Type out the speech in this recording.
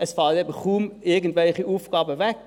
» Es fallen eben kaum irgendwelche Aufgaben weg.